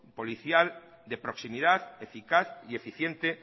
policial de proximidad eficaz y eficiente